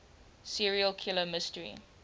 serial killer mystery